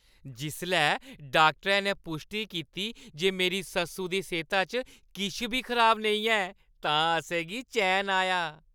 जिसलै डाक्टरै ने पुश्टी कीती जे मेरी सस्सु दी सेह्ता च किश बी खराबी नेईं ऐ तां असें गी चैन आया।